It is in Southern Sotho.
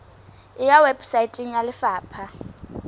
e ya weposaeteng ya lefapha